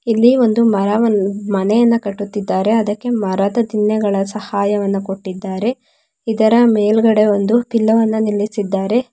ಇಲ್ಲಿ ಒಂದು ಮರವನ್ ಮನೆಯನ್ನ ಕಟ್ಟುತ್ತಿದ್ದಾರೆ ಅದಕ್ಕೆ ಮರದ ದಿಣ್ಣೆಗಳ ಸಹಾಯವನ್ನು ಕೊಟ್ಟಿದ್ದಾರೆ ಇದರ ಮೇಲ್ಗಡೆ ಒಂದು ಪಿಲ್ಲರನ್ನು ನಿಲ್ಲಿಸಿದ್ದಾರೆ.